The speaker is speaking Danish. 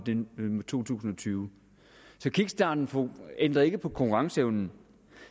to tusind og tyve så kickstarten ændrer ikke på konkurrenceevnen